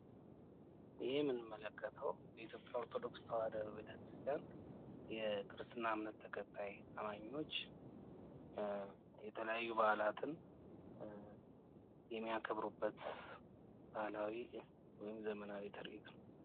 ይህ የምንመለከተው የኢትዮጵያ ኦርቶዶክስ ተዋህዶ ቤተ-ክርስቲያን የክርስትና እምነት ተከታይ አማኞች የተለያዩ በዓላትን የሚያከብሩበት ባህላዊ ዘመናዊ ታሪክ ነው።